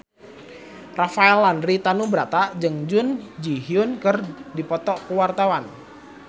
Rafael Landry Tanubrata jeung Jun Ji Hyun keur dipoto ku wartawan